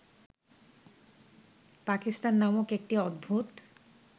পাকিস্তান নামক একটি অদ্ভুত